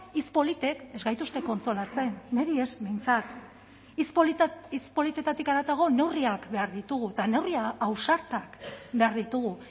hitz politek ez gaituzte kontsolatzen niri ez behintzat hitz politetatik haratago neurriak behar ditugu eta neurri ausartak behar ditugu